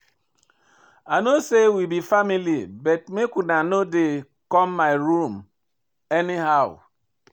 I know sey we be family but make una no dey come my room anyhow.